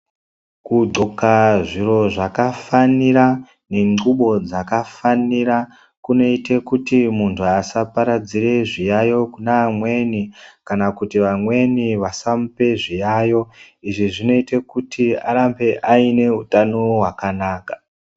Kudhloka zviro zvakafanira nengxubo dzakafanira kunoite kuti muntu vasaparadzire zviyayo kune amweni. Kana kuti vamweni asamupe zviyayo, izvi zvinoite kuti arambe aine hutano hwakanaka.